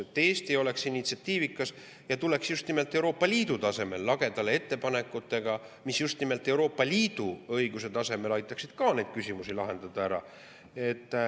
Et Eesti oleks initsiatiivikas ja tuleks just nimelt Euroopa Liidu tasemel lagedale ettepanekutega, mis just nimelt Euroopa Liidu õiguse tasemel aitaksid ka neid küsimusi lahendada.